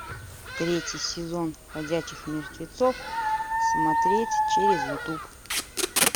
третий сезон ходячих мертвецов смотреть через ютуб